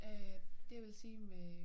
Øh det jeg ville sige med